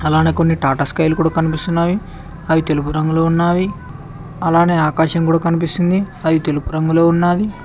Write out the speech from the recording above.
అలానే కొన్ని టాటా స్కై లు కూడా కనిపిస్తున్నాయి అవి తెలుపు రంగులో ఉన్నావి అలానే ఆకాశం కూడా కనిపిస్తుంది అది తెలుపు రంగులో ఉన్నది.